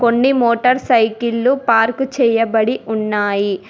కొన్ని మోటార్ సైకిలలు పార్క్ చేయబడి ఉన్నాయి.